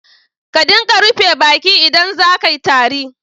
Ka dinga rufe baki idan za ka yi tari.